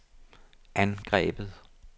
angrebet